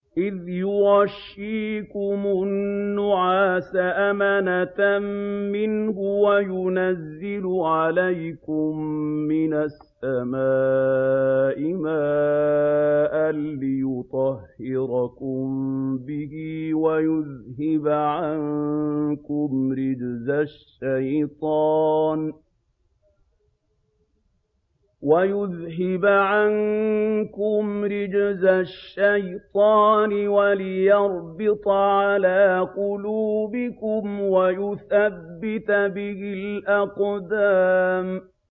إِذْ يُغَشِّيكُمُ النُّعَاسَ أَمَنَةً مِّنْهُ وَيُنَزِّلُ عَلَيْكُم مِّنَ السَّمَاءِ مَاءً لِّيُطَهِّرَكُم بِهِ وَيُذْهِبَ عَنكُمْ رِجْزَ الشَّيْطَانِ وَلِيَرْبِطَ عَلَىٰ قُلُوبِكُمْ وَيُثَبِّتَ بِهِ الْأَقْدَامَ